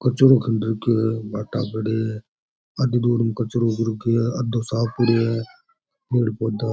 कचरो खिंड रखयो है भाटा पड़िया है आदि दूर में कचरो हो रखयो है आदो साफ पड़यो है पेड़ पौधा --